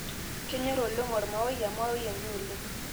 kenyor oleng olmaoi/emaoi enye oleng